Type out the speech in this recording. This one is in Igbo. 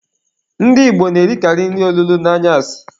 Ndị Igbo na-erikalị nri olulo n'anyasị.